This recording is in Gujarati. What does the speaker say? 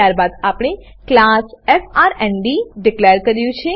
ત્યારબાદ આપણે ક્લાસ એફઆરએનડી ડીકલેર કર્યું છે